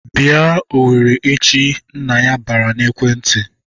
"Bịa Owerri échi!" Nna ya bara n'ekwentị.